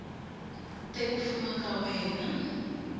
te ku fuma ka wena